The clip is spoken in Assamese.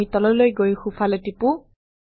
আমি তললৈ গৈ সোফালে টিপো